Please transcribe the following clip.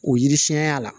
O yiri siɲɛnya la